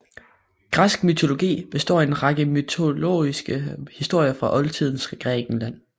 Græsk mytologi består af en række mytologiske historier fra Oldtidens Grækenland